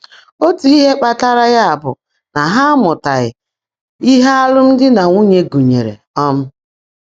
Ótú íhe kpàtàrà yá bụ́ ná há ámụ́tághị́ íhe álụ́mdị́ nà nwúnyé gụ́nyèèré. um